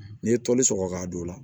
N'i ye toli sɔgɔ ka don o la